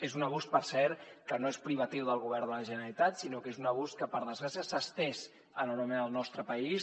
és un abús per cert que no és privatiu del govern de la generalitat sinó que és un abús que per desgràcia s’ha estès enormement al nostre país